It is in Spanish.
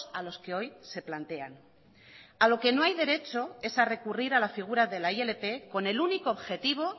a los que hoy se plantean a lo que no hay derecho es a recurrir a la figura de la ilp con el único objetivo